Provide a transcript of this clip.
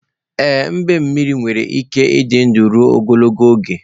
Ee, mbemmiri nwere ike ịdị ndụ ruo ogologo oge.